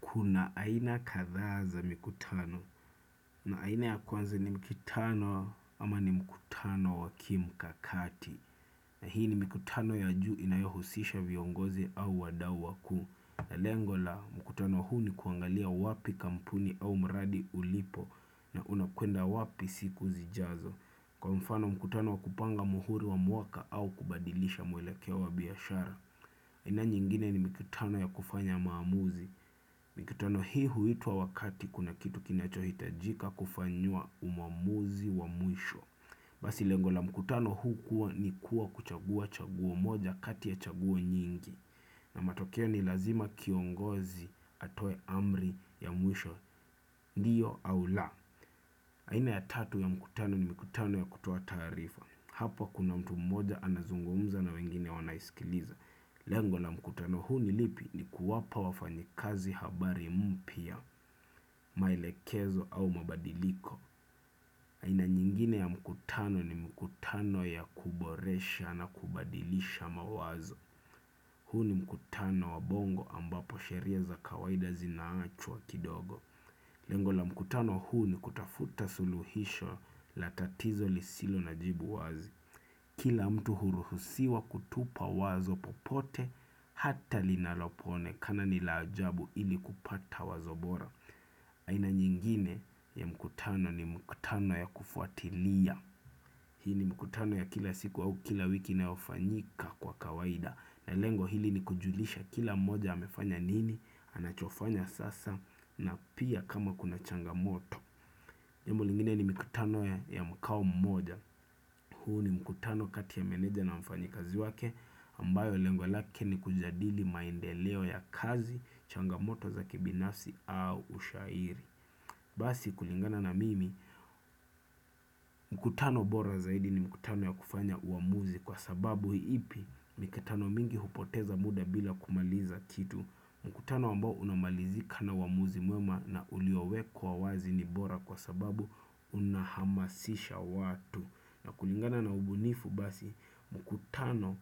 Kuna aina kathaa za mikutano na aina ya kwanza ni mikutano ama ni mikutano wakimkakati. Na hii ni mikutano ya juu inayohusisha viongozi au wadau wakuu. Na lengo la, mkutano huu ni kuangalia wapi kampuni au mradi ulipo na unakwenda wapi siku zijazo. Kwa mfano mkutano kupanga muhuri wa mwaka au kubadilisha mwelekeo wa biashara. Aina nyingine ni mikutano ya kufanya maamuzi. Mikutano hii huituwa wakati kuna kitu kinachohitajika kufanywa umamuzi wa mwisho Basi lengo la mkutano huu kuwa ni kuwa kuchagua chauo moja kati ya chauo nyingi na matokeo ni lazima kiongozi atoe amri ya mwisho ndiyo au la haina ya tatu ya mkutano ni mkutano ya kutoa tarifa Hapa kuna mtu mmoja anazungumza na wengine wanaisikiliza Lengo na mkutano huu nilipi ni kuwapa wafanyikazi habari mpya, maelekezo au mabadiliko. Aina nyingine ya mkutano ni mkutano ya kuboresha na kubadilisha mawazo. Huu ni mkutano wa bongo ambapo sheria za kawaida zinaachwa kidogo. Lengo na mkutano huu ni kutafuta suluhisho la tatizo lisilo na jibu wazi. Kila mtu huruhusiwa kutupa wazo popote hata linalopoonekana nila ajabu ili kupata wazo bora. Aina nyingine ya mkutano ni mkutano ya kufuatilia. Hii ni mkutano ya kila siku au kila wiki inaofanyika kwa kawaida. Na lengo hili ni kujulisha kila moja amefanya nini, anachofanya sasa na pia kama kuna changamoto. Jambo lingine ni mikutano ya mkao mmoja. Huu ni mkutano kati ya meneja na mfanyikazi wake ambayo lengo lake ni kujadili maendeleo ya kazi changamoto za kibinafsi au ushairi. Basi kulingana na mimi mkutano bora zaidi ni mkutano ya kufanya uamuzi kwa sababu ipi mikutano mingi hupoteza muda bila kumaliza kitu mkutano ambao unamalizika na uamuzi mwema na uliowekwa wazi ni bora kwa sababu unahamasisha watu na kulingana na ubunifu basi mkutano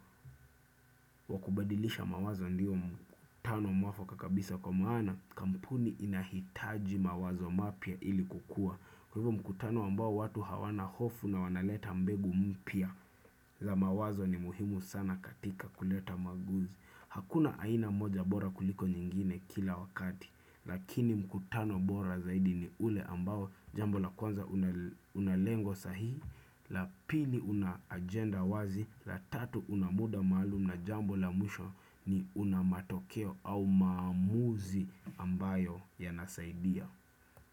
wakubadilisha mawazo ndiyo mkutano mwafaka kabisa kwa maana kampuni inahitaji mawazo mapya ili kukua Kwa hivo mkutano ambao watu hawana hofu na wanaleta mbegu mpya za mawazo ni muhimu sana katika kuleta maguzi Hakuna aina moja bora kuliko nyingine kila wakati Lakini mkutano bora zaidi ni ule ambao jambo la kwanza unalengo sahii la pili una ajenda wazi la tatu unamuda maalum na jambo la mwisho ni unamatokeo au maamuzi ambayo yanasaidia.